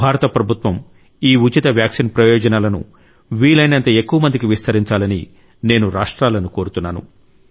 భారత ప్రభుత్వ ఈ ఉచిత వ్యాక్సిన్ ప్రయోజనాలను వీలైనంత ఎక్కువ మందికి విస్తరించాలని నేను రాష్ట్రాలను కోరుతున్నాను